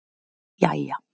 jæja